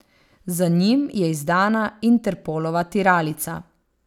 Za njim je izdana Interpolova tiralica.